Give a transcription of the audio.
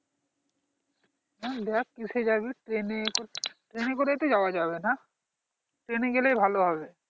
হ্যাঁ দেখ কিসে যাবি train train করেই তো যাওয়া যাবেনা train গেলেই ভালো হবে